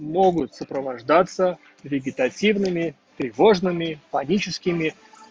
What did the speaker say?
могут сопровождаться вегетативными тревожными магическими